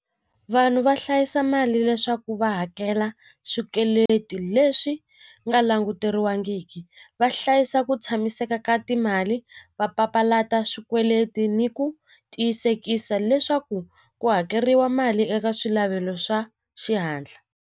Vanhu va hlayisa mali leswaku va hakela swikweleti leswi nga languteriwangiki va hlayisa ku tshamiseka ka timali va papalata swikweleti ni ku tiyisekisa leswaku ku hakeriwa mali eka swa xihatla.